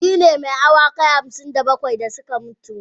Shi ne ma awakai hamsin da bakwai da suka mutu.